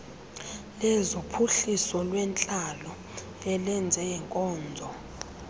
lezophuhliso lwentlalo elezeenkonzo